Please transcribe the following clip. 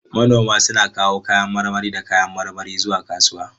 Manoma suna kawo kayan marmari da kayan marmari zuwa kasuwa.